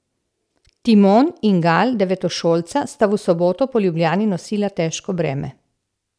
Timon in Gal, devetošolca, sta v soboto po Ljubljani nosila težko breme.